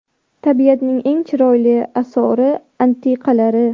Tabiatning eng chiroyli asori-atiqalari.